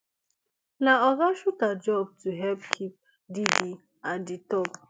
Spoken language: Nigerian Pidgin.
na oga shuter job to help keep diddy at di top